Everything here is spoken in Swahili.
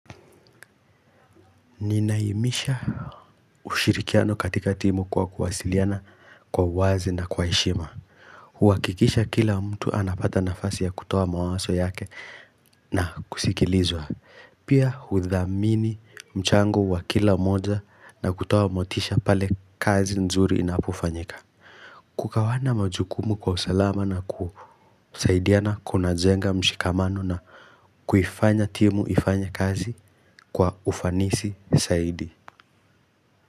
Ninaimisha ushirikiano katika timu kwa kuwasiliana kwa uwazi na kwa heshima huhakikisha kila mtu anapata nafasi ya kutoa mawaso yake na kusikilizwa Pia hudhamini mchango wa kila moja na kutoa motisha pale kazi nzuri inapofanyika Kukawana majukumu kwa usalama na kusaidiana kunajenga mshikamano na kuifanya timu ifanye kazi kwa ufanisi saidi.